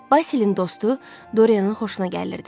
Basilin dostu Doryanın xoşuna gəlirdi.